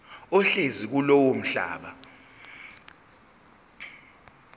ohlezi kulowo mhlaba